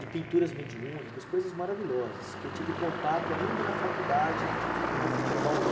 de pinturas mediúnicas, coisas maravilhosas, que eu tive contato ainda na faculdade, quando eu fui para Bauru.